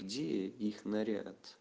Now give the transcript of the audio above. где их наряд